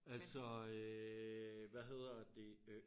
Altså øh hvad hedder det øh